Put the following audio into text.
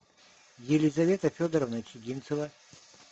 елизавета федоровна чигинцева